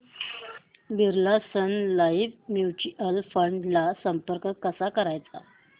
Birla Sun Life mutual fund ला संपर्क कसा करायचा